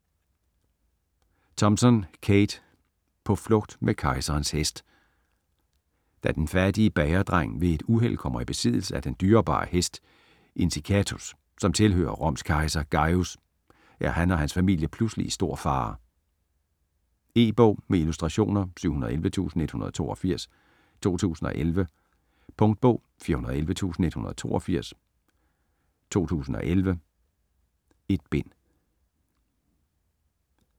Thompson, Kate: På flugt med kejserens hest Da den fattige bagerdreng ved et uheld kommer i besiddelse af den dyrebare hest Incitatus, som tilhører Roms kejser Gajus, er han og hans familie pludselig i stor fare. E-bog med illustrationer 711182 2011. Punktbog 411182 2011. 1 bind.